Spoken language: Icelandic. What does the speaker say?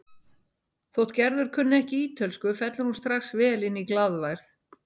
Þótt Gerður kunni ekki ítölsku fellur hún strax vel inn í glaðværð